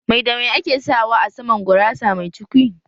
Mai da mai ake sawa a saman gurasa mai cukwi?